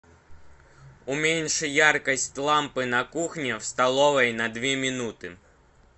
уменьши яркость лампы на кухне в столовой на две минуты